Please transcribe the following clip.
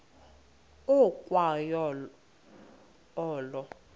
ukwa yo olo